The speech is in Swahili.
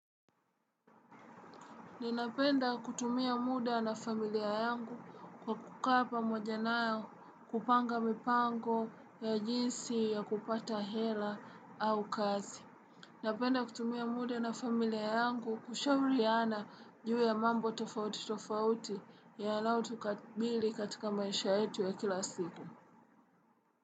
Ninapenda kutumia muda na familia yangu kwa kukaa pamoja nao, kupanga mipango ya jinsi ya kupata hela au kazi. Ninapenda kutumia muda na familia yangu kushauriana juu ya mambo tofauti tofauti yanayotukabili katika maisha yetu ya kila siku.